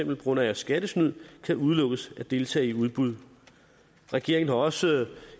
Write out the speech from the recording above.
på grund af skattesnyd kan udelukkes at deltage i udbud regeringen har også